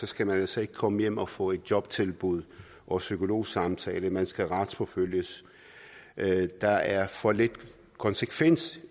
skal man altså ikke komme hjem og få et jobtilbud og psykologsamtaler man skal retsforfølges der er for lidt konsekvens